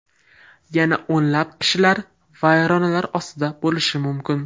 Yana o‘nlab kishilar vayronalar ostida bo‘lishi mumkin.